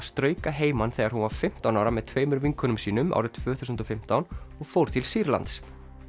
strauk að heiman þegar hún var fimmtán ára með tveimur vinkonum sínum árið tvö þúsund og fimmtán og fór til Sýrlands